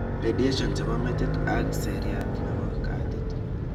Radiations che bo metit ag seriat nebo katit